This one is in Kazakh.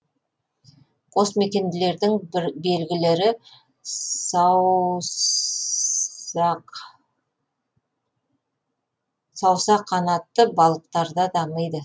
қосмекенділердің белгілері саусақанатты балықтарда дамиды